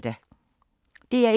DR1